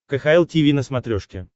кхл тиви на смотрешке